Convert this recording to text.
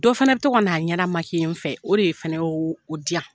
Dɔ fana bi to ka na a ɲɛda n fɛ, o de fɛnɛ ye o di yan.